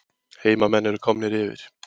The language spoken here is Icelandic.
Heimamenn eru komnir yfir